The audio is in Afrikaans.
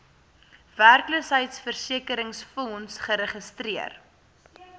werkloosheidversekeringsfonds geregistreer